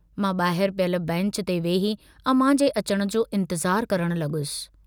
मां बाहिर पियल बैंच ते वेही अमां जे अचण जो इन्तज़ारु करण लगुसि।